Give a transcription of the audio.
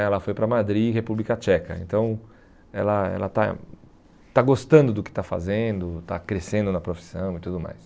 Ela foi para Madrid, República Tcheca, então ela ela está está gostando do que está fazendo, está crescendo na profissão e tudo mais.